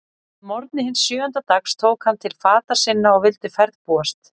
Að morgni hins sjöunda dags tók hann til fata sinna og vildi ferðbúast.